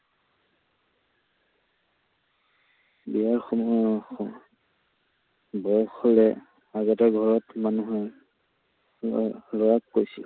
একসময়ত বয়স হলে আগতে ঘৰত মানুহে লৰাক লৰাক কৈছিল